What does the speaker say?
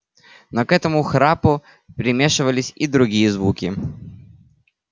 но к этому храпу примешивались и другие звуки